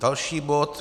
Další bod.